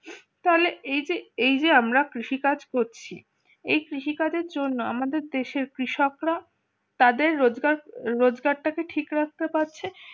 তাহলে এই যে আমরা কৃষি কাজ করছি। এই কৃষিকাজের জন্য আমাদের দেশের কৃষকরা, তাদের রোজগার রোজগারটা কি ঠিক রাখতে পারছে